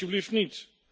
Toch alsjeblieft niet!